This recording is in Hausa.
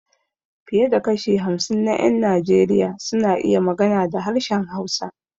Fiye da kashi hamsin na ƴan Najeriya suna iya magana da harshen Hausa.